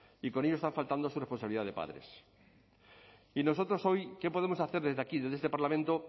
y con ello están faltando a su responsabilidad de padres y nosotros hoy qué podemos hacer desde aquí desde este parlamento